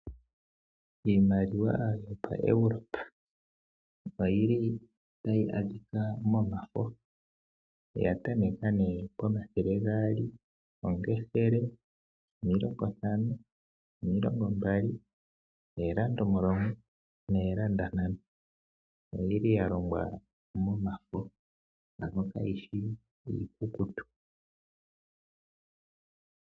Iimaliwa yaEuropa oyili tayi adhika momafo yatameka nee pomathele gaali, opethele, omilongo ntano, omilongo mbali ,oolanda omulongo noolanda ntano. Oyili yalongwa momafo ano kayishi iikukutu.